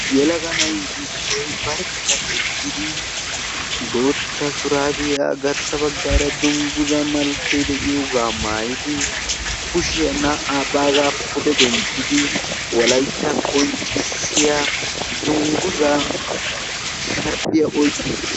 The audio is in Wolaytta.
yelaga nay issoy barkka eqqidi. bootta shurabiyaa garssa baggara dungguzay de'iyooga maayyidi. kushiyaa naa''a baagga pude denttidi wolaytta qonccissiya dungguza oyqqi uttiis.